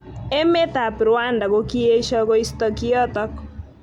Emet ab Rwanda kokiesho koisto kiotok.